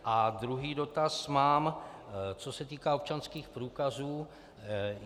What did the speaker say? A druhý dotaz mám, co se týká občanských průkazů.